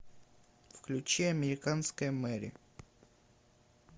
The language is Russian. включи американская мэри